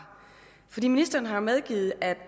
ministeren har jo medgivet at